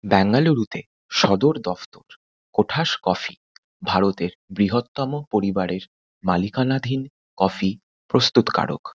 ব্যাঙ্গালুরুতে সদর দফতর কোঠাস কফি ভারতের বৃহত্তম পরিবারের মালিকানাধীন কফি প্রস্তুতকারক।